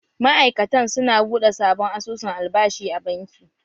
Ma'aikatan su na buɗe sabon asusun albashi a banki.